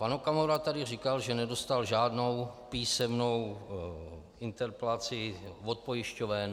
Pan Okamura tady říkal, že nedostal žádnou písemnou interpelaci od pojišťoven.